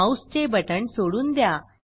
माऊसचे बटण सोडून द्या